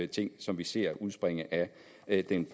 ting som vi ser udspringe af den